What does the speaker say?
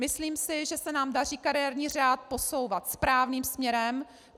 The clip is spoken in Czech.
Myslím si, že se nám daří kariérní řád posouvat správným směrem.